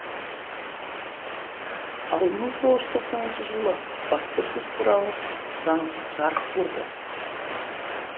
ал мың тоғыз жүз тоқсаныншы жылы баспасөз туралы заң жарық көрді